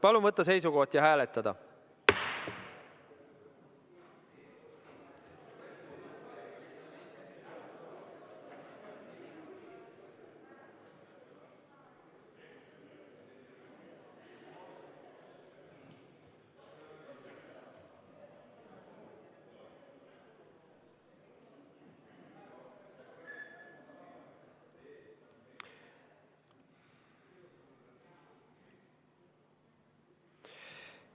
Palun võtta seisukoht ja hääletada!